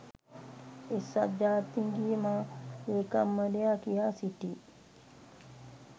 එක්සත් ජාතීන්ගේ මහ ‍ලේකම්වරයා කියා සිටී